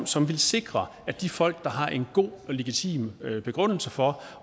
som vil sikre at de folk der har en god og legitim begrundelse for